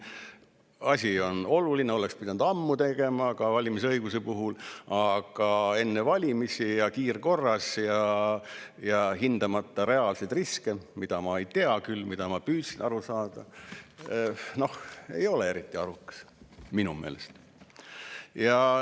Asi on oluline, oleks pidanud ammu tegema ka valimisõiguse puhul, aga enne valimisi ja kiirkorras ja hindamata reaalseid riske, mida mina küll ei tea, kuigi ma püüdsin aru saada – ei ole eriti arukas minu meelest.